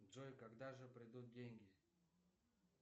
джой когда же придут деньги